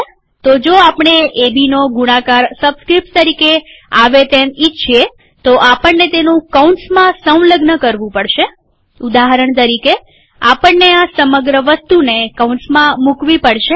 તો જો આપણે એબીનો ગુણાકાર સબસ્ક્રીપ્ટ્સ તરીકે આવે એમ ઈચ્છીએ તો આપણને તેનું કૌંસમાં સંલગ્ન કરવું પડશેઉદાહરણ તરીકે આપણને આ સમગ્ર વસ્તુને કૌંસમાં મુકવી પડશે